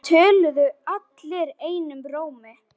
Það töluðu allir einum rómi.